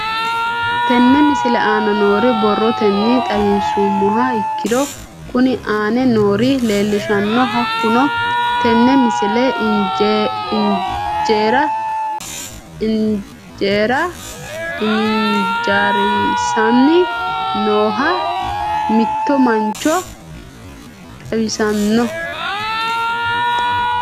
Tenne misile aana noore borrotenni xawisummoha ikirro kunni aane noore leelishano. Hakunno tinni misile injaara ijaarisanni nooha mitto mancho xawissanno.